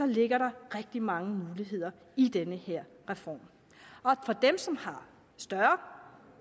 ligger der rigtig mange muligheder i den her reform og for dem som har større